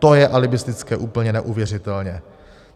To je alibistické úplně neuvěřitelně.